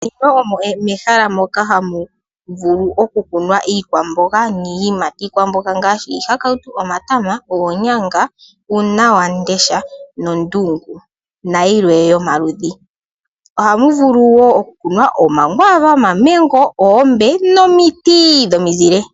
Ndino omo mehala moka hamu vulu oku kunwa iikwamboga niiyimati. Iikwamboga ngaashi iihakawutu, omatama, oonyanga, uunawandesha nondungu. Nayilwe yomaludhi. Oha mu vulu wo oku kunwa omakwaava, omamengo, oombe nomiiti dhomi zile.